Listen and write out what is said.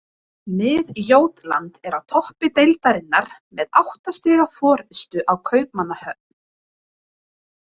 Mið-Jótland er á toppi deildarinnar með átta stiga forystu á Kaupmannahöfn.